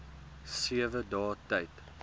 sewe dae tyd